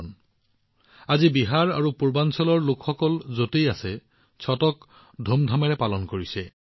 আজি দেশৰ যিকোনো কোণত বিহাৰ আৰু পূৰ্বাঞ্চলৰ লোকসকল যতেই থাকক অতি ধুমধামেৰে ছট উদযাপন কৰা হৈছে